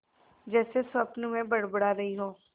जैसे स्वप्न में बड़बड़ा रही हो